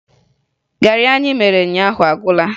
Garị anyị mere ụnyaahụ agwụla